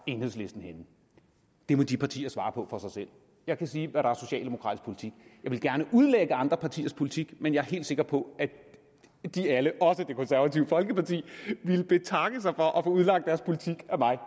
enhedslisten henne det må de partier svare på for sig selv jeg kan sige hvad der er socialdemokratisk politik jeg vil gerne udlægge andre partiers politik men jeg er helt sikker på at de alle også det konservative folkeparti ville betakke sig for at udlagt deres politik af mig